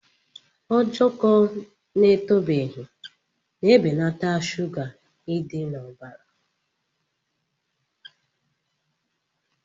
Ojoko na-etobeghị na-ebelata shuga idi na ọbara.